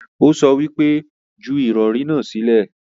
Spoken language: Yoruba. Ó sọ wípé 'Ju ìrọ̀rí náà sílẹ̀'